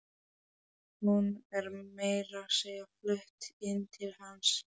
Hún er meira að segja flutt inn til hans.